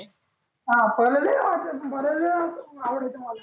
हा पहिले लई आवडायचं आवडायचं मला.